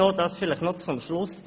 Noch zum Schluss: